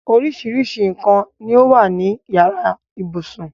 Oríṣiríṣi nǹkan ni ó wà ní yàrá ibùsùn.